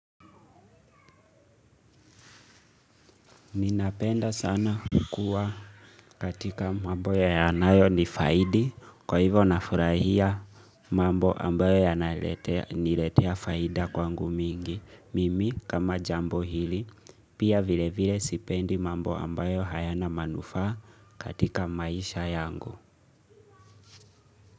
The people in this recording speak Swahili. Ninapenda sana kukuwa katika mambo yanayonifaidi, kwa hivyo nafurahia mambo ambayo yananiletea faida kwangu mingi. Mimi kama jambo hili, pia vilevile sipendi mambo ambayo hayana manufaa katika maisha yangu.